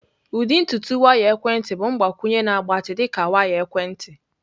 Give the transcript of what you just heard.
Ụdị ntutu waya ekwentị bụ mgbakwunye na-agbatị dị ka waya ekwentị.